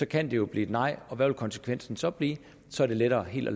kan det jo blive nej og hvad vil konsekvensen så blive så er det lettere helt at